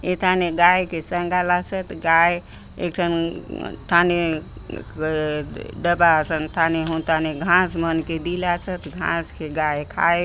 ऐथाने गाय के संगालासोत गाय एक ठन थाने डब्बा असन थाने हुन थाने घास मन के दिलासोत घास के गाय खाय --